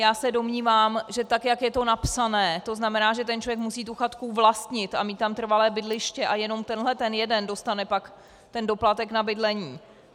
Já se domnívám, že tak jak je to napsané, to znamená, že ten člověk musí tu chatku vlastnit a mít tam trvalé bydliště, a jenom tenhle ten jeden dostane pak ten doplatek na bydlení.